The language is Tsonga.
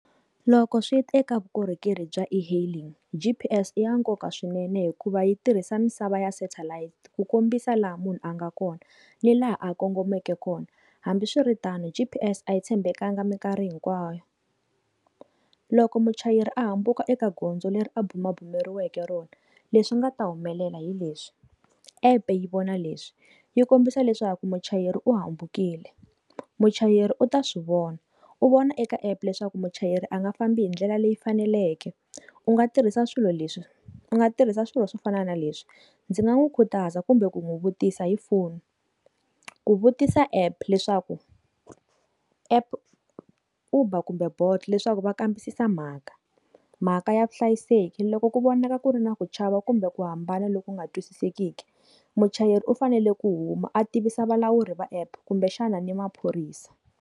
Loko swi teka vukorhokeri bya e-hailing G_P_S i ya nkoka swinene hikuva yi tirhisa misava ya satellite ku kombisa laha munhu a nga kona ni laha a kongomeke kona hambiswiritano G_P_S a yi tshembekanga mikarhi hinkwayo loko muchayeri a hambuka eka gondzo leri a bumabumeriweke rona leswi nga ta humelela hileswi app yi vona leswi yi kombisa leswaku muchayeri u hambukile muchayeri u ta swivona u vona eka app leswaku muchayeri a nga fambi hi ndlela leyi faneleke u nga tirhisa swilo leswi u nga tirhisa swilo swo fana na leswi ndzi nga n'wi khutaza kumbe ku n'wi vutisa hi foni ku vutisa app leswaku app Uber kumbe Bolt leswaku va kambisisa mhaka mhaka ya vuhlayiseki loko ku vonaka ku ri na ku chava kumbe ku hambana loku nga twisisekeki muchayeri u fanele ku huma a tivisa vulawuri va app kumbe xana ni maphorisa.